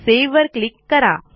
सेव्हवर click करा